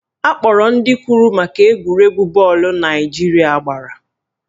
Akpọrọ ndị kwuru maka egwuregwu bọọlụ Naijiria gbara